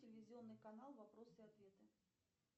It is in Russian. телевизионный канал вопросы и ответы